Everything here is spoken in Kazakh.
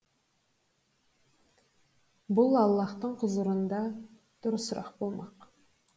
бұл аллаһтың құзырында дұрысырақ болмақ